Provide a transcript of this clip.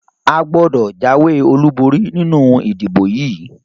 A gbọ́dọ̀ jáwé olúborí nínú ìdìbò yìí!